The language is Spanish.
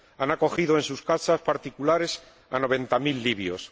Ha acogido en sus casas particulares a noventa mil libios.